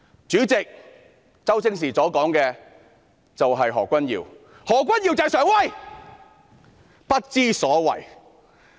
"主席，周星馳所說的就是何君堯議員，何君堯議員就是常威，不知所謂。